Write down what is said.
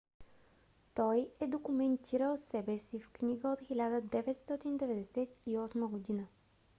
той е документирал себе си в книга от 1998 г